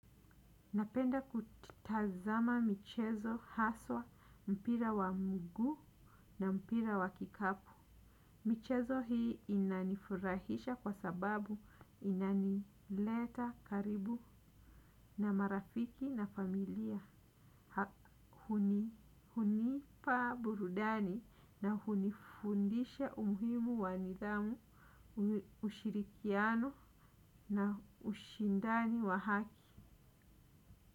Napenda kutazama michezo haswa mpira wa miguu na mpira wa kikapu. Michezo hii inanifurahisha kwa sababu inanileta karibu na marafiki na familia. Hunipa burudani na hunifundisha umhimu wa nidhamu ushirikiano na ushindani wa haki.